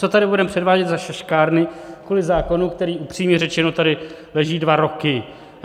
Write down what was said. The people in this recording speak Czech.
Co tady budeme předvádět za šaškárny kvůli zákonu, který upřímně řečeno tady leží dva roky?